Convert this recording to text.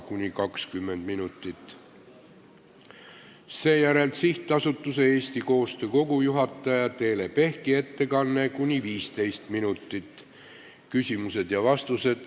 Seejärel on SA Eesti Koostöö Kogu juhataja Teele Pehki ettekanne ning küsimused ja vastused .